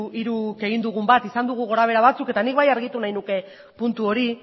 hiruk egin dugun bat izan ditugu gorabehera batzuk eta nik bai argitu nahi nuke puntu hori